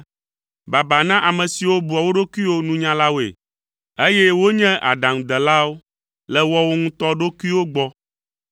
Baba na ame siwo bua wo ɖokuiwo nunyalawoe, eye wonye aɖaŋudelawo le woawo ŋutɔ ɖokuiwo gbɔ.